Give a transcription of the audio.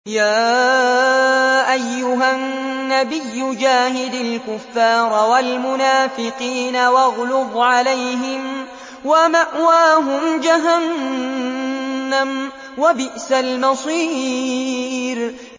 يَا أَيُّهَا النَّبِيُّ جَاهِدِ الْكُفَّارَ وَالْمُنَافِقِينَ وَاغْلُظْ عَلَيْهِمْ ۚ وَمَأْوَاهُمْ جَهَنَّمُ ۖ وَبِئْسَ الْمَصِيرُ